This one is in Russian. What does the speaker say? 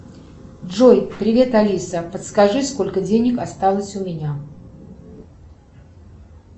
джой привет алиса подскажи сколько денег осталось у меня